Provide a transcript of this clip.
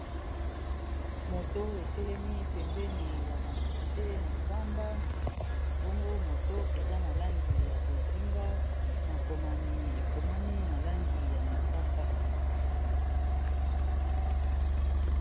Moto etelemi, pembeni ya ba nzete na zamba. Bongo moto eza na langi ya bozinga. Makomami, ekomami na langi ya mosaka.